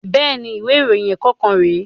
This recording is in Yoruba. Bẹ́ẹ̀ni, ìwé ìròyìn ẹ̀kọ́ kan rè